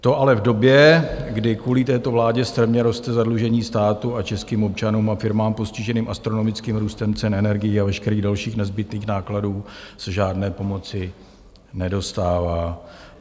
To ale v době, kdy kvůli této vládě strmě roste zadlužení státu a českým občanům a firmám postiženým astronomickým růstem cen energií a veškerých dalších nezbytných nákladů se žádné pomoci nedostává.